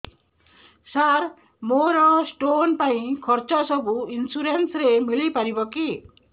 ସାର ମୋର ସ୍ଟୋନ ପାଇଁ ଖର୍ଚ୍ଚ ସବୁ ଇନ୍ସୁରେନ୍ସ ରେ ମିଳି ପାରିବ କି